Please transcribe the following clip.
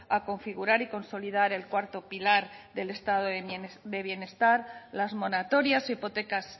a configurar y consolidar el cuarto pilar del estado de bienestar las moratorias e hipotecas